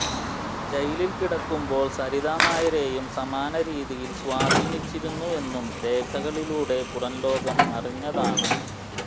ജയിലിൽ കിടക്കുമ്പോൾ സരിതാ നായരേയും സമാന രീതിയിൽ സ്വാധീനിച്ചിരുന്നുവെന്നും രേഖകളിലൂടെ പുറം ലോകം അറിഞ്ഞതാണ്